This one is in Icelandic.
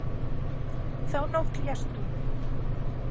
Þá nótt lést hún.